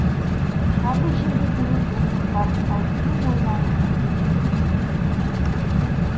шығады жер бетіне зұлымдықтар әркімнің ойлануына өз мүддесін